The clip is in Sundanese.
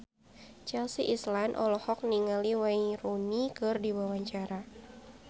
Chelsea Islan olohok ningali Wayne Rooney keur diwawancara